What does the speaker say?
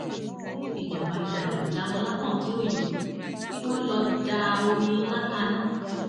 ó ní kíjọba yàà lọọ jáwọ lápọn tí ó yọ kí wọn lọọ da omi ìlà kaná